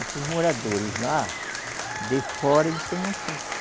Esses moradores lá, de fora, eles têm um poço.